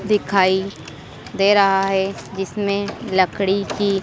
दिखाई दे रहा है जिसमें लकड़ी की--